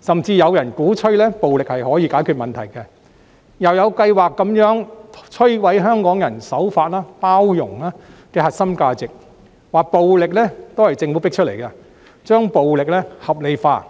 甚至有人鼓吹暴力可以解決問題，又有計劃地摧毀香港人守法、包容的核心價值，聲稱暴力是政府迫出來的，把暴力合理化。